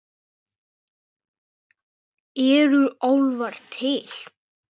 Eru álfar til?